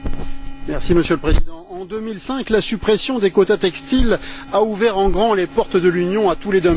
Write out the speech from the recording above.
Monsieur le Président, en 2005, la suppression des quotas textiles a ouvert en grand les portes de l'Union à tous les dumpings.